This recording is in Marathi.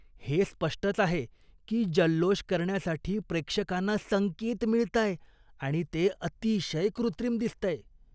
हे स्पष्टच आहे की जल्लोष करण्यासाठी प्रेक्षकांना संकेत मिळताय आणि ते अतिशय कृत्रिम दिसतंय.